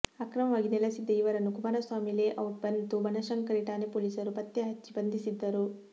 ಅಕ್ರಮವಾಗಿ ನೆಲೆಸಿದ್ದ ಇವರನ್ನು ಕುಮಾರಸ್ವಾಮಿ ಲೇಔಟ್ ಮತ್ತು ಬನಶಂಕರಿ ಠಾಣೆ ಪೊಲೀಸರು ಪತ್ತೆ ಹಚ್ಚಿ ಬಂಧಿಸಿದ್ದರು